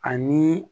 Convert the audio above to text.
Ani